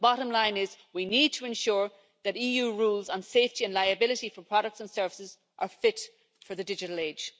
The bottom line is we need to ensure that EU rules on safety and liability for products and services are fit for the digital age.